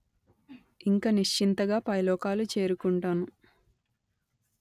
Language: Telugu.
ఇంక నిశ్చింతంగా పైలోకాలు చేరుకుంటాను